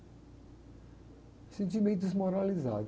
Me senti meio desmoralizado.